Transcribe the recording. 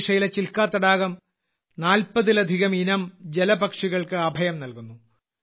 ഒഡീഷയിലെ ചിൽക്ക തടാകം 40ലധികം ഇനം ജലപക്ഷികൾക്ക് അഭയം നൽകുന്നു